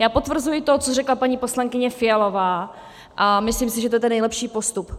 Já potvrzuji to, co řekla paní poslankyně Fialová, a myslím si, že to je ten nejlepší postup.